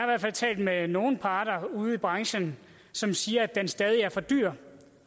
hvert fald talt med nogle parter ude i branchen som siger at den stadig er for dyr